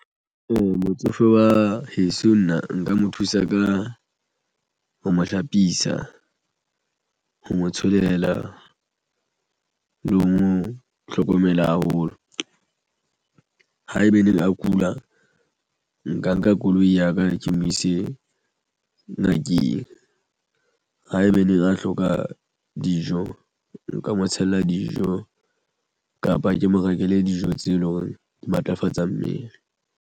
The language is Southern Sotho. Motsofe wa heso nna nka mo thusa ka ho mo hlapisa ho mo tsholela le ho mo hlokomela haholo. Haeba neng a kula nka nka koloi ya ka ke mo ise ngakeng haebaneng a hloka dijo nka mo tshella dijo kapa ke mo rekele dijo tse leng hore di matlafatsa mmele.